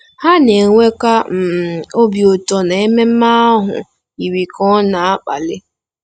Ha na-enwekwa um obi ụtọ na ememe ahụ yiri ka ọ na-akpali.